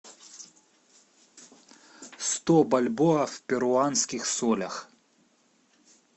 сто бальбоа в перуанских солях